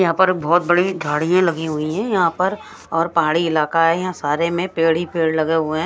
यहां पर बहोत बड़ी झाड़ियां लगी हुई हैं यहां पर और पहाड़ी इलाका है यहां सारे में पेड़ ही पेड़ लगे हुए हैं।